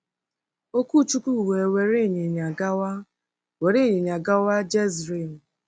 Okwuchukwu we were inyinya gawa were inyinya gawa Jezril. ”